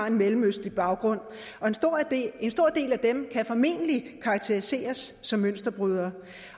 en mellemøstlig baggrund og en stor del af dem kan formentlig karakteriseres som mønsterbrydere